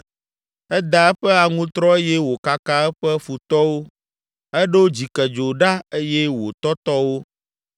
Eda eƒe aŋutrɔ eye wòkaka eƒe futɔwo, eɖo dzikedzo ɖa eye wòtɔtɔ wo.